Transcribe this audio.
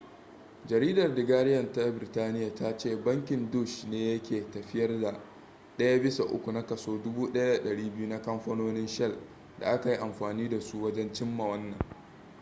jaridar the guardian ta birtaniya ta ce bankin deutsche ne yake tafiyar da daya bisa uku na kaso 1200 na kamfanonin shell da aka yi amfani da su wajen cimma wannan